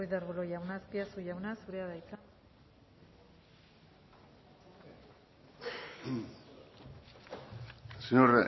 ruiz de arbulo jauna azpiazu jauna zurea da hitza señor